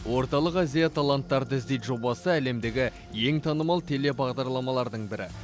орталық азия таланттарды іздейді жобасы әлемдегі ең танымал теле бағдарламардың бірі